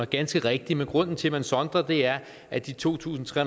ganske rigtigt men grunden til at man sondrer er at de to tusind tre